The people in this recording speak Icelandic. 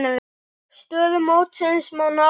Stöðu mótsins má nálgast hérna.